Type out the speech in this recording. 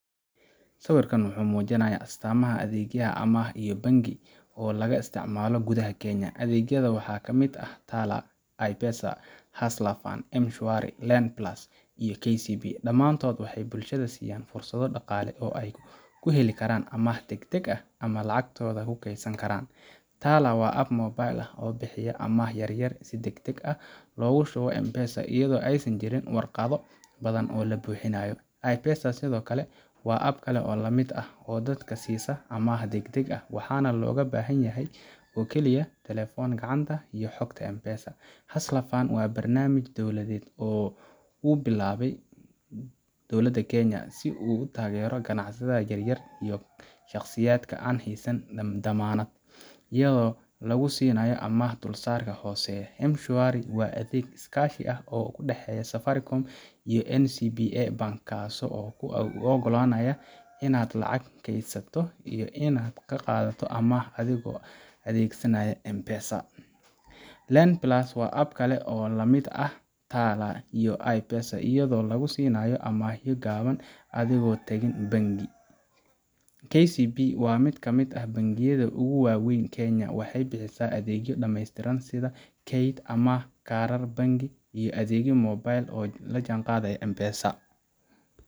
Sawirkan wuxuu muujinayaa astaamaha adeegyo amaah iyo bangi oo laga isticmaalo gudaha Kenya. Adeegyadan waxaa ka mid ah Tala, iPesa, Hustler Fund, M-Shwari, LendPlus, iyo KCB. Dhammaantood waxay bulshada siiyaan fursado dhaqaale oo ay ku heli karaan amaah degdeg ah ama ay lacagtooda ku kaydsan karaan. Tala[cs waa app mobile ah oo bixiya amaah yar yar si degdeg ah loogu shubo M-Pesa, iyadoo aysan jirin waraaqo badan oo la buuxinayo. iPesa sidoo kale waa app kale oo lamid ah, oo dadka siisa amaah degdeg ah, waxaana looga baahan yahay oo kaliya telefoon gacanta iyo Xogta M-Pesa. Hustler Fund waa barnaamij dawladeed oo uu bilaabay dowladda Kenya, si uu u taageero ganacsatada yaryar iyo shaqsiyaadka aan haysan dammaanad, iyadoo lagu siinayo amaah dulsaarka hooseeya. M-Shwari waa adeeg iskaashi ah oo u dhaxeeya Safaricom iyo NCBA Bank, kaasoo kuu oggolaanaya inaad lacag keydsato iyo inaad qaadato amaah adigoo adeegsanaya M-Pesa. LendPlus waa app kale oo la mid ah Tala iyo iPesa, iyadoo lagu siinayo amaahyo gaaban adigoon tagin bangi. KCB waa mid ka mid ah bangiyada ugu waa weyn Kenya. Waxay bixisaa adeegyo dhammaystiran sida kayd, amaah, kaarar bangi iyo adeegyo mobile oo la jaanqaadaya M-Pesa.